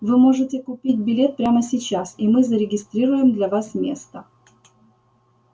вы можете купить билет прямо сейчас и мы зарегистрируем для вас место